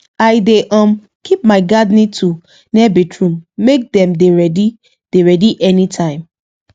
i dey um keep my gardening tool near bathroom make dem dey ready dey ready anytime